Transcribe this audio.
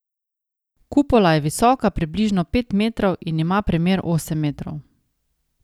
Kupola je visoka približno pet metrov in ima premer osem metrov.